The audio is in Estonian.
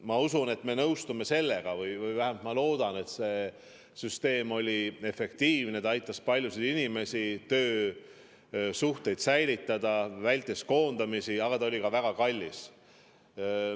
Ma usun, et te nõustute – või vähemalt ma loodan seda –, et see süsteem oli efektiivne, aitas paljusid inimesi, aitas töösuhteid säilitada, vältis koondamisi, aga see oli ka väga kallis.